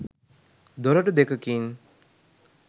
දොරටු දෙකකින්